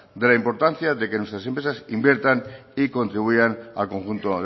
de la importancia de que nuestras empresas inviertan y contribuyan al conjunto